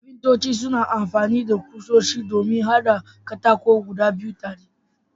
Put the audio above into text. Kafintoci suna amfani da kusoshi don haɗa katako guda biyu tare.